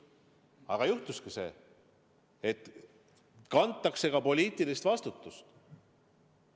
Aga juhtus see, et kantakse ka poliitilist vastutust.